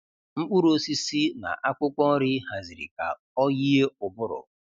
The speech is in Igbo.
Mkpụrụ osisi na akwụkwọ nri haziri ka ọ yie ụbụrụ.